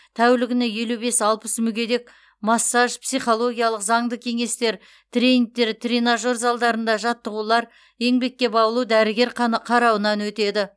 тәулігіне елу бес алпыс мүгедек массаж психологиялық заңды кеңестер тренингтер тренажер залдарында жаттығулар еңбекке баулу дәрігер қарауынан өтеді